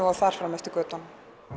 og þar fram eftir götunum